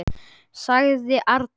sagði Arnór.